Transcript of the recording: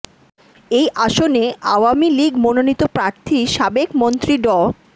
এই আসনে আওয়ামী লীগ মনোনীত প্রার্থী সাবেক মন্ত্রী ড